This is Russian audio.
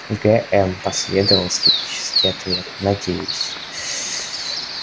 гм последовал скептический ответ надеюсь